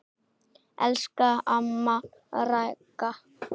Elsku amma Ragga.